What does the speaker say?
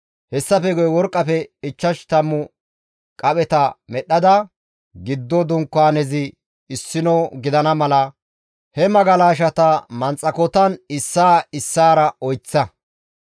Hessafe guye worqqafe ichchash tammu qapheta medhdhada giddo dunkaanezi issino gidana mala, he magalashata manxakotan issaa issaara oyseththa.